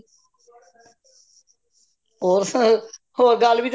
ਹੋਰ ਸਭ ਹੋਰ ਗੱਲਬਾਤ